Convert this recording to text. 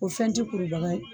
O fɛn ti kurubaga ye